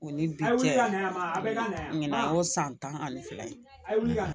O ni bi cɛ ka na a bɛ la o san tan ani fila ye